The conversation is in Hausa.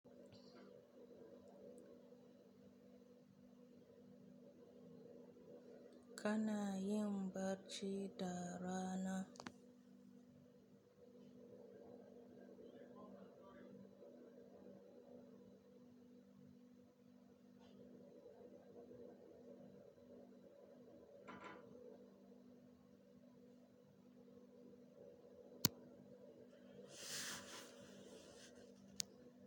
Kana yin bacci da rana.